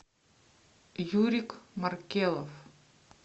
юрик маркелов